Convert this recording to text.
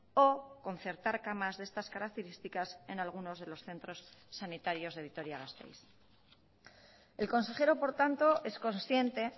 o concertar camas de estas características en algunos de los centros sanitarios de vitoria gasteiz el consejero por tanto es consciente